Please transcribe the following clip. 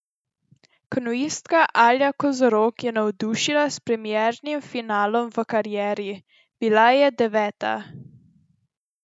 Kanuistka Alja Kozorog je navdušila s premiernim finalom v karieri, bila je deveta.